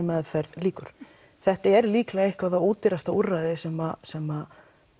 meðferð lýkur þetta er líklega eitthvað það ódýrasta úrræði sem sem